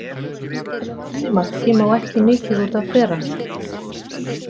Til að ná því marki má ekki mikið út af bera.